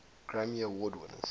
grammy award winners